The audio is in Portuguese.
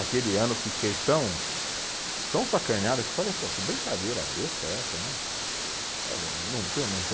Aquele ano eu fiquei tão, tão sacaneado que eu falei, pô, que brincadeira besta é essa, né?